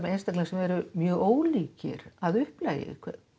einstaklinga sem eru mjög ólíkir að upplagi